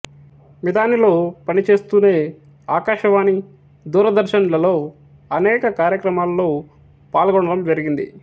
మిధానిలో పనిచేస్తూనే ఆకాశవాణి దూరదర్శన్ లలో అనేక కార్యక్రమాలలో పాల్గొనడం జరిగింది